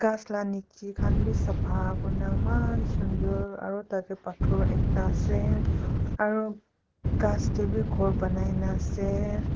ghass la niche khan bi sapha kuri ne eman sunder aru tate pator ekta ase aru ghass te bi ghor banai ne ase.